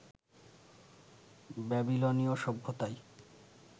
ব্যাবিলনীয় সভ্যতায়